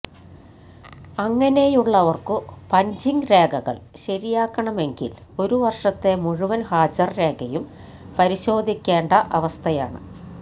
അങ്ങനെയുള്ളവർക്കു punching രേഖകള് ശരിയാക്കണമെങ്കില് ഒരു വര്ഷത്തെ മുഴുവന് ഹാജര് രേഖയും പരിശോധിക്കേണ്ട അവസ്ഥയാണ്